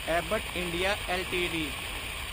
Abbott India LTD